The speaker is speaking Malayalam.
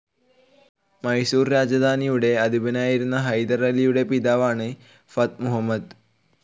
മൈസൂർ രാജധാനിയുടെ അധിപനായിരുന്ന ഹൈദർ അലിയുടെ പിതാവാണ് ഫാറ്റ്‌ മുഹമ്മദ്.